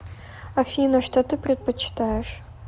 афина что ты предпочитаешь